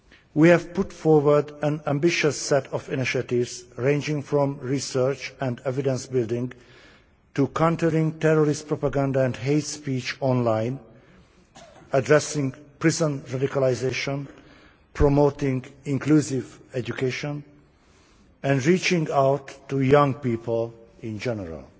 We have put forward an ambitious set of initiatives ranging from research and evidence building to countering terrorist propaganda and hate speech online, addressing prison radicalistion, promoting inclusive education and reaching out to young people in general.